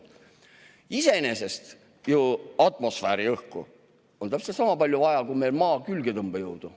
Iseenesest on ju atmosfääriõhku täpselt sama palju vaja kui Maa külgetõmbejõudu.